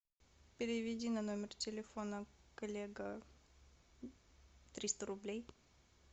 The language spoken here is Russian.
переведи на номер телефона коллега триста рублей